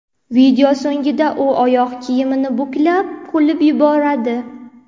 Video so‘nggida u oyoq kiyimni buklab, kulib yuboradi.